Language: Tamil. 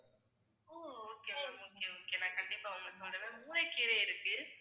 okay ma'am okay okay நான் கண்டிப்பா உங்களுக்கு சொல்றேன் ma'am. முளைக்கீரை இருக்கு.